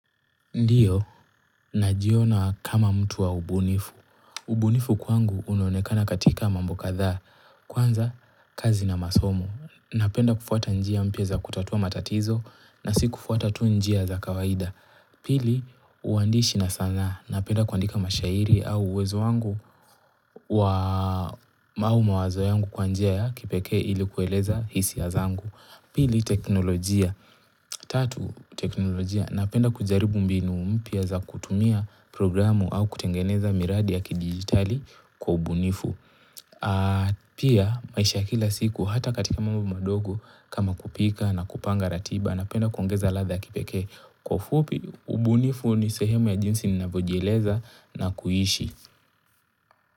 Ndio, najiona kama mtu wa ubunifu. Ubunifu kwangu unaonekana katika mambo kadhaa, kwanza kazi na masomo. Napenda kufuata njia mpya za kutatua matatizo na si kufuata tu njia za kawaida. Pili, uandishi na sanaa. Napenda kuandika mashairi au uwezo wangu wa mawazo yangu kwa njia ya kipeke ili kueleza hisia zangu. Pili, teknolojia. Tatu, teknolojia. Napenda kujaribu mbinu mpya za kutumia programu au kutengeneza miradi ya kidigitali kwa ubunifu pia maisha ya kila siku hata katika mambo madogo kama kupika na kupanga ratiba napenda kuongeza ladha ya kipekee kwa ufupi ubunifu ni sehemu ya jinsi ninavyojieleza na kuishi.